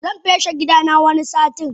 Zan feshe gidana wani satin.